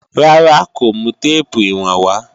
Rárá, kò mú téèpù ìwọ̀n wá